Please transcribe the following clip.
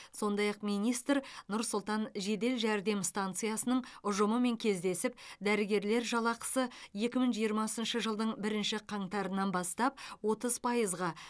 сондай ақ министр нұр сұлтан жедел жәрдем стансасының ұжымымен кездесіп дәрігерлер жалақысы екі мың жиырмасыншы жылдың бірінші қаңтарынан бастап отыз пайызға